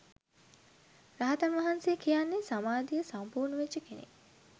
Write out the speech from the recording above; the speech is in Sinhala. රහතන් වහන්සේ කියන්නේ සමාධිය සම්පූර්ණ වෙච්ච කෙනෙක්